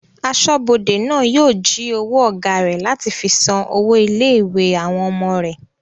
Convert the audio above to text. Asọ́bodè náà yóò jí owó ọ̀gá rẹ̀ láti fi san owó ilé-ìwé àwọn ọmọ rẹ̀